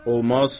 Olmaz!